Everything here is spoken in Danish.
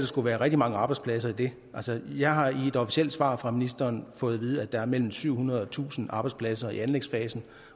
skulle være rigtig mange arbejdspladser i det altså jeg har i et officielt svar fra ministeren fået at vide at der er mellem syv hundrede og tusind arbejdspladser i anlægsfasen